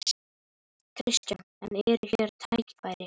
Kristján: En hér eru tækifæri?